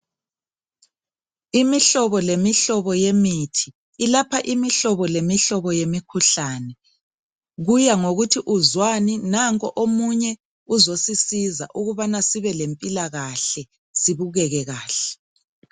Imihlobo lemihlobo yemithi, ilapha imihlobo lemihlobo yemikhuhlane, kuya ngokuthi uzwani nanko omunye uzosisiza ukubabana sibe lempilakahle sibukeke kahle.